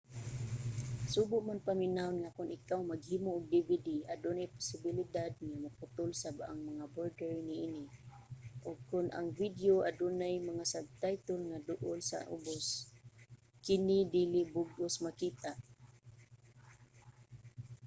subo man paminawon nga kon ikaw maghimo og dvd adunay posibilidad nga maputol sab ang mga border niini ug kon ang video adunay mga subtitle nga duol sa ubos kini dili sa bug-os makita